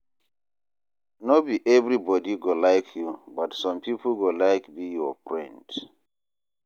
No be everybodi go like you, but some pipo go like be your friend.